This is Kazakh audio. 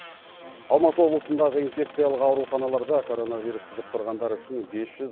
алматы облысындағы инфекциялық ауруханаларда короновирус жұқтырғандар үшін бес жүз